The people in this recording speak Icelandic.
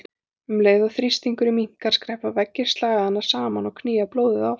Um leið og þrýstingurinn minnkar skreppa veggir slagæðanna saman og knýja blóðið áfram.